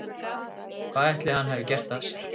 Hvað ætli hann hafi gert af sér?